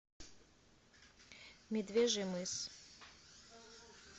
медвежий мыс